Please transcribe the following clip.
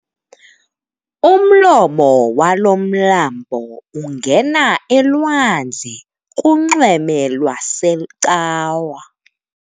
Umlomo walo mlambo ungena elwandle kunxweme lwaseCawa.